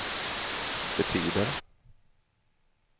betyder